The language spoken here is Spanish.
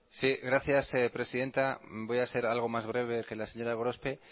sí gracias presidenta voy a ser algo más breve que la señora gorospe